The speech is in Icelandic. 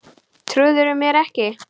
Trúirðu mér ekki?